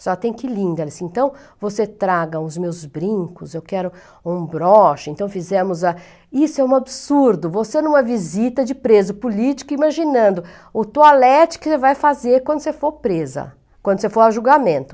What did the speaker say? Senhora tem que ir linda, ela disse, então você traga os meus brincos, eu quero um broche, então fizemos a... Isso é um absurdo, você em uma visita de preso político, imaginando o toalete que você vai fazer quando você for presa, quando você for a julgamento.